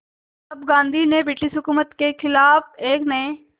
अब गांधी ने ब्रिटिश हुकूमत के ख़िलाफ़ एक नये